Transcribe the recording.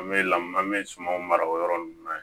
An bɛ lamun an bɛ sumanw mara o yɔrɔ ninnu na